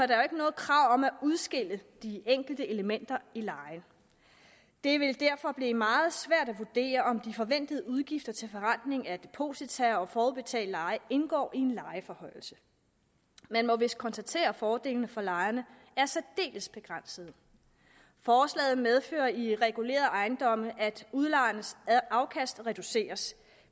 der jo ikke noget krav om at udskille de enkelte elementer i lejen det vil derfor blive meget svært at vurdere om de forventede udgifter til forrentning af deposita og forudbetalt leje indgår i en lejeforhøjelse man må vist konstatere at fordelene for lejerne er særdeles begrænsede forslaget medfører i regulerede ejendomme at udlejernes afkast reduceres